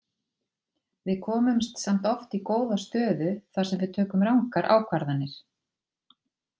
Við komumst samt oft í góða stöðu þar sem við tökum rangar ákvarðanir.